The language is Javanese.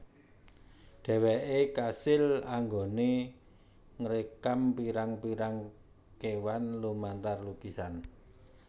Dheweke kasil anggone ngrekam pirang pirang kewan lumantar lukisan